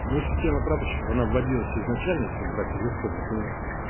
но система прапорщиков она вводилась изначально если брать из истории то